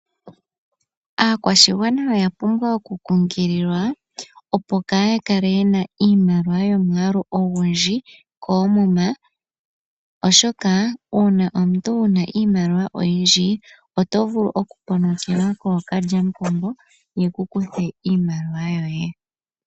Aakwashigwana oya pumbwa oku kunkililwa opo kaaya kale yena omwaalu gwiimaliwa oyindji koomuma, oshoka uuna omuntu wuna iimaliwa oto vulu oku ponokelwa kookalya mupombo yeku kuthe iimaliwa yoye.